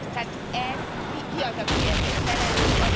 Tehát ezt, ki az, aki ezért felelős?